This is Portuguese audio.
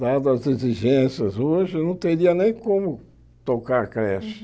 Dada as exigências hoje, eu não teria nem como tocar a creche.